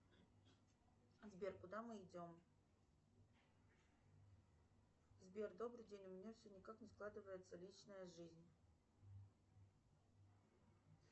сбер куда мы идем сбер добрый день у меня все никак не складывается личная жизнь